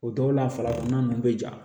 O dɔw la farafinna ninnu bɛ ja